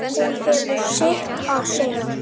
Hún hefur sitt að segja.